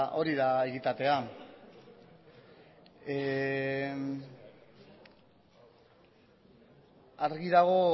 hori da egitatea argi dago